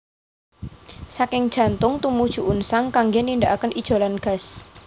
Saking jantung tumuju unsang kanggé nindakaken ijolan gas